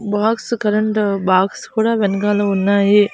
Box current box కూడా వెనకాల ఉన్నాయి.